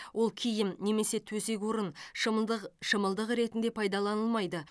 ол киім немесе төсек орын шымылдық шымылдық ретінде пайдаланылмайды